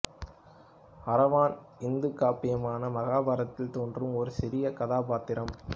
அரவான் இந்து காப்பியமான மகாபாரதத்தில் தோன்றும் ஒரு சிறிய கதாபாத்திரம்